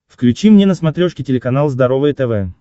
включи мне на смотрешке телеканал здоровое тв